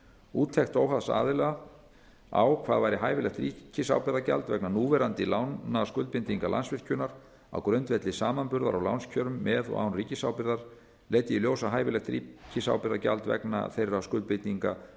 úttekt óháðs aðila á hvað væri hæfilegt ríkisábyrgðargjald vegna núverandi lánaskuldbindinga landsvirkjunar á grundvelli samanburðar á lánskjörum með og án ríkisábyrgðar leiddi í ljós að hæfilegt ríkisábyrgðargjald vegna þeirra skuldbindinga